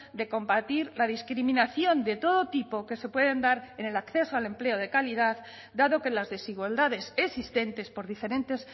de combatir la discriminación de todo tipo que se puede dar en el acceso al empleo de calidad dado que las desigualdades existentes por diferentes